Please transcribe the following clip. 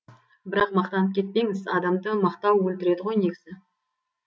бірақ мақтанып кетпеңіз адамды мақтау өлтіреді ғой негізі